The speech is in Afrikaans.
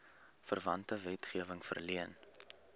verwante wetgewing verleen